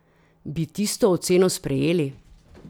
Bi tisto oceno sprejeli?